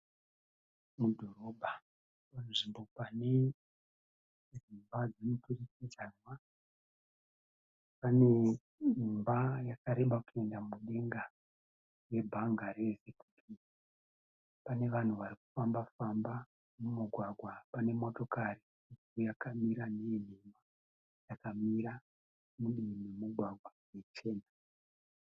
Mudhorobha panzvimbo pane dzimba dzemuturikidzanwa. Paneimba yakareba kuenda mudenga yebhanga rerizevhi bhengi. Panevanhu varikufamba-famba mumugwagwa. Panemotokari yakamira mhiri yakamira mudivi remugwagwa yechena.